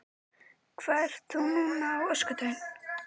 Þórhildur: Hvað ert þú núna á öskudaginn?